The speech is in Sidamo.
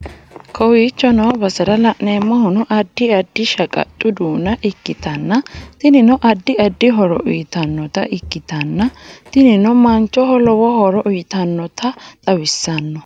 Kowichoo noo baserra lanemohunoo addi addi shaqaxxu dunna ekitanna tinnino addi addi hooro uytannota ikkitanna tiinino manchhoho lowo horro uyitannota xawissano.